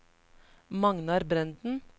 Magnar Brenden